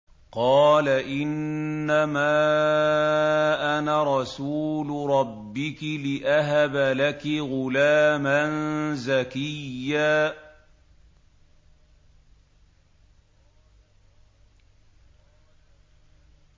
قَالَ إِنَّمَا أَنَا رَسُولُ رَبِّكِ لِأَهَبَ لَكِ غُلَامًا زَكِيًّا